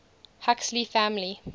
huxley family